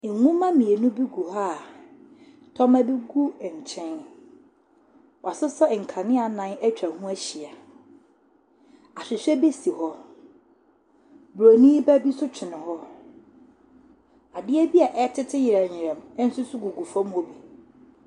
Nwoma mmienu bi gu hɔ a tɔma bi gu nkyɛn, wɔasesa nkanea nnan atwa hɔ ahyia, ahwehwɛ si hɔ, bronin ba bi nso twene hɔ, adeɛ bi a ɛretete yerɛyerɛ nso gugu famu hɔ bi.